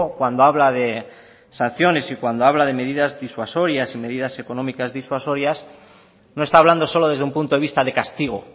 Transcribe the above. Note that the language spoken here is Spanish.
cuando habla de sanciones y cuando habla de medidas disuasorias y medidas económicas disuasorias no está hablando solo desde un punto de vista de castigo